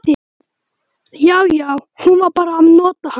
Já, já, hún var bara að nota hann.